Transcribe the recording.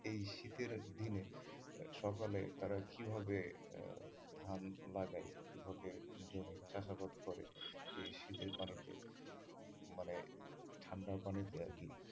এই শীতের দিনে সকালে তারা কীভাবে আহ ধান লাগায় কীভাবে জমি চাষাবাদ করে এই শীতের পানিতে, মানে ঠাণ্ডা পানিতে আরকি,